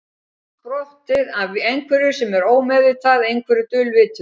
Er það allt sprottið af einhverju sem er ómeðvitað, einhverju dulvituðu?